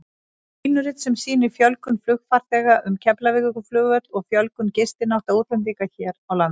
Línurit sem sýnir fjölgun flugfarþega um Keflavíkurflugvöll og fjölgun gistinátta útlendinga hér á landi.